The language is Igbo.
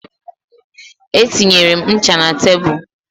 Etinyere m ncha na tebụl